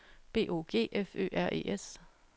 B O G F Ø R E S